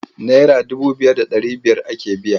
Naira dubu biyu da ɗari biyar ake biya.